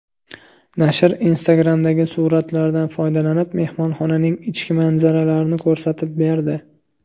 Nashr Instagram’dagi suratlardan foydalanib, mehmonxonaning ichki manzaralarini ko‘rsatib berdi.